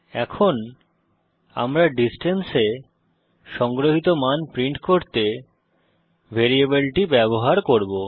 এখন আমরা ডিসট্যান্স এ সংগ্রহিত মান প্রিন্ট করতে ভ্যারিয়েবলটি ব্যবহার করব